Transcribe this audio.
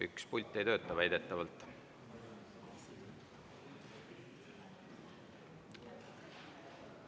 Üks pult ei tööta väidetavalt.